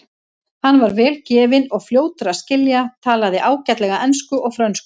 Hann var vel gefinn og fljótur að skilja, talaði ágætlega ensku og frönsku.